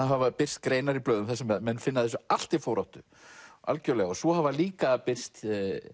hafa birst greinar í blöðum þar sem menn finna þessu allt til foráttu svo hefur líka birst